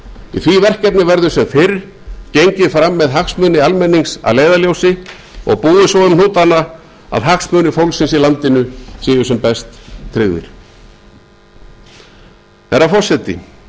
í því verkefni verður sem fyrr gengið fram með hagsmuni almennings að leiðarljósi og búið svo um hnútana að hagsmunir fólksins í landinu séu sem best tryggðir herra forseti